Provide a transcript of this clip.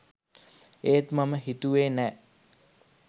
ඒත් මම හිතුවේ නෑ